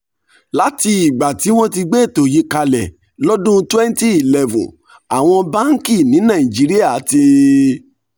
láti ìgbà tí wọ́n ti gbé ètò yìí kalẹ̀ lọ́dún twenty eleven àwọn báńkì ní nàìjíríà ti